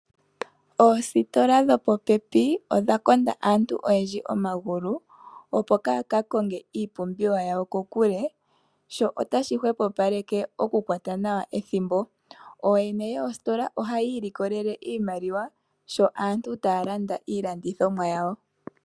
Oositola dhopopepi odha konda aantu oyendji omagulu opo yaaka konge iipumbiwa yawo kokule, sho otashi hwepopaleke okukwata nawa ethimbo. Ooyene yositola ohayi ilikolele iimaliwa sho aantu taya landa iilandithomwa yawo.